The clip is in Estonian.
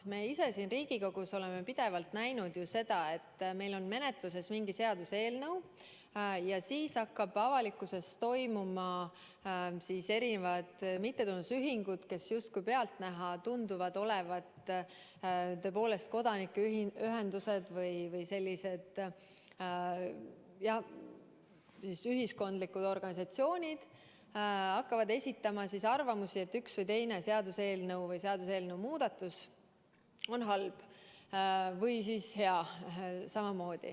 Me oleme siin Riigikogus pidevalt näinud, et meil on menetluses mingi seaduseelnõu ja siis hakkavad avalikkuses erinevad mittetulundusühingud, kes pealtnäha tunduvad olevat tõepoolest kodanikuühendused või muud ühiskondlikud organisatsioonid, esitama arvamusi, et see seaduseelnõu või seaduseelnõu muudatusettepanek on halb või siis hea.